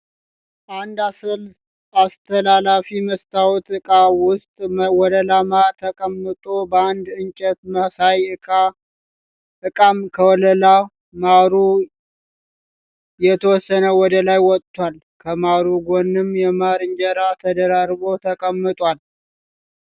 አንድ አስተላላፊ መስታወት እቃ ውስጥ ወለላ ማር ተቀምጧል በአንድ እንጨት መሳይ እቃም ከወለላ ማሩ የተወሰነ ወደ ላይ ወጥቷል። ከማሩ ጎንም የማር እንጀራ ተደራርቦ ተቀምጧል።